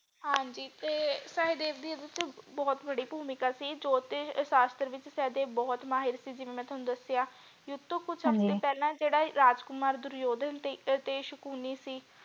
ਹਾਂਜੀ ਤੇ ਸਹਿਦੇਵ ਦੀ ਯੁੱਧ ਵਿੱਚ ਬਹੁਤ ਵਡੀ ਭੂਮਿਕਾ ਸੀ ਜੋਤਿਸ਼ ਸ਼ਾਸ਼ਤਰ ਵਿਚ ਸਹਿਦੇਵ ਬਹੁਤ ਮਾਹਿਰ ਸੀ ਜਿਵੇਂ ਮੈਂ ਤੁਹਾਨੂੰ ਦਸਿਆ ਯੁੱਧ ਤੋਂ ਹਾਂਜੀ ਕੁਛ ਸਮੇਂ ਪਹਿਲੇ ਜਿਹੜਾ ਰਾਜਕੁਮਾਰ ਦੁਰਯੋਧਨ ਤੇ ਸ਼ਕੁਨੀ ਸੀ।